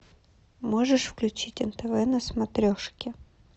можешь включить нтв на смотрешке